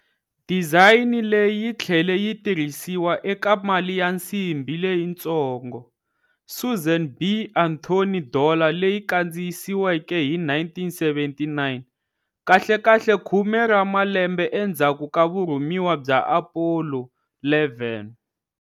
Dizayini leyi yi tlhele yi tirhisiwa eka mali ya nsimbi leyitsongo, Susan B. Anthony Dollar leyi kandziyisiweke hi 1979, kahlekahle khume ra malembe endzhaku ka vurhumiwa bya Apollo 11.